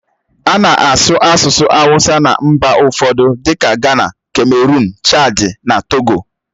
A na-asụ asụsụ awusa na mba ụfọdụ dịka Gana, kameruụn, Chadi na Togo.